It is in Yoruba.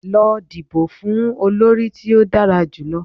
Lọ dibo fun olori ti o dara julọ!